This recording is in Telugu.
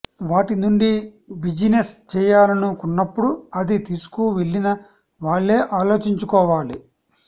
వాటి నుండి బిజి నెస్ చేయాలనుకున్నప్పుడు అది తీసుకువెళ్లిన వాళ్లే ఆలోచించుకోవాలి